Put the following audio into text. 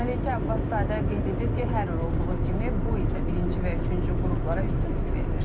Məleykə Abbaszadə qeyd edib ki, hər il olduğu kimi bu il də birinci və üçüncü qruplara üstünlük verilir.